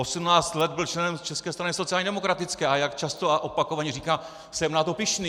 Osmnáct let byl členem České strany sociálně demokratické, a jak často a opakovaně říká, jsem na to pyšný.